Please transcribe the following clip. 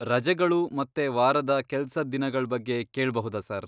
ರಜೆಗಳು ಮತ್ತೆ ವಾರದ ಕೆಲ್ಸದ್ ದಿನಗಳ್ ಬಗ್ಗೆ ಕೇಳ್ಬಹುದಾ ಸರ್?